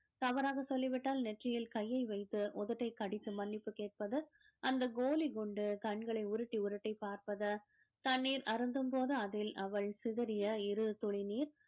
தவறாக சொல்லிவிட்டால் நெற்றியில் கையை வைத்து உதட்டைக் கடித்து மன்னிப்பு கேட்பது அந்த கோலி குண்டு கண்களை உருட்டி உருட்டி பார்ப்பது தண்ணீர் அருந்தும்போது அதில் அவள் சிதறிய இரு துளி நீர்